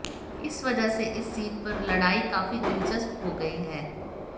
इस वजह से इस सीट पर लड़ाई काफी दिलचस्प हो गई है